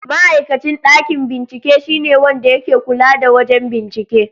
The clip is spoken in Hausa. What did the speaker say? Ma'aikacin ɗakin bincike shine wanda yake kula da wajen bincike.